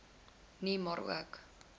nie maar ook